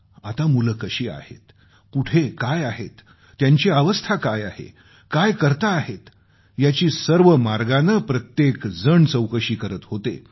आता मुलं कशी आहेत कुठं आहेत त्यांची अवस्था काय आहे काय करताहेत याची सर्व मार्गानं प्रत्येकजण चौकशी करीत होते